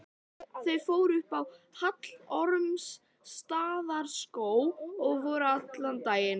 Þau fóru upp í Hallormsstaðarskóg og voru allan daginn.